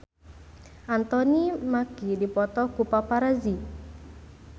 Anthony Mackie dipoto ku paparazi